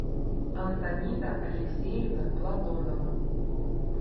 антонида алексеевна платонова